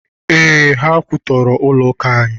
Ee, ha kwụtọrọ ụlọ akụ anyị.